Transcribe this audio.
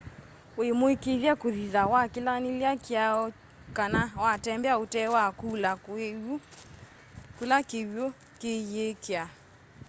wi muikithye kuthitha wakilanilya kiao kana watembea utee wa kula kiwu kiiyikya